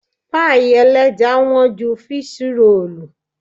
Páì ẹlẹ́ja wọ́n ju fíṣí roòlù.